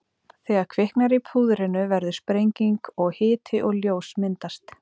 Þegar kviknar í púðrinu verður sprenging og hiti og ljós myndast.